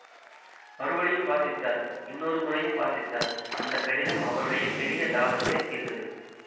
மறுபடியும் வாசித்தார் இன்னொரு முறையும் வாசித்தார் அந்த கடிதம் அவருடைய பெரிய தாபத்தைத் தீர்த்தது